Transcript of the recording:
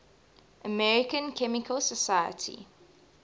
american chemical society